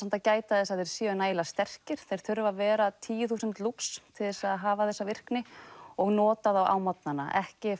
að gæta þess að þeir séu nægilega sterkir þeir þurfa að vera tíu þúsund lux til þess að hafa þessa virkni og nota þá á morgnana ekki